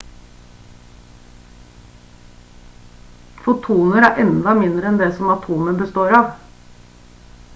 fotoner er enda mindre enn det som atomer består av